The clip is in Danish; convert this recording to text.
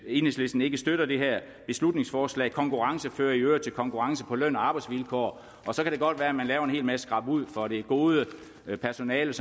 enhedslisten ikke støtter det her beslutningsforslag konkurrence fører i øvrigt til konkurrence på løn og arbejdsvilkår og så kan det godt være man laver en hel masse skrabud for det gode personale